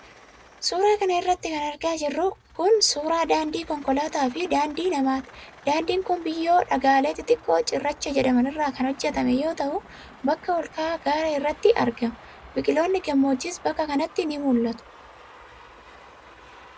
Suura kana irratti kan argaa jirru kun, suura daandii konkolaataa fi daandii namaati. Daandiin kun, biyyoo fi dhagaalee xixiqqoo cirracha jedhaman irraa kan hojjatame yoo ta'u, bakka ol ka'aa gaara irratti argama. Biqiloonni gammoojjiis bakka kanatti ni mul'atu.